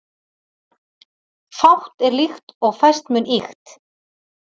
Fátt er líkt og fæst mun ýkt